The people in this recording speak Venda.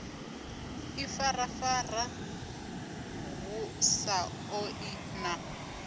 ifarafara hu sa ṱoḓei na